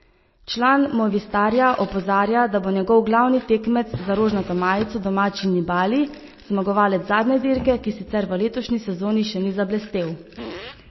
Član Movistarja opozarja, da bo njegov glavni tekmec za rožnato majico domačin Nibali, zmagovalec zadnje dirke, ki sicer v letošnji sezoni še ni zablestel.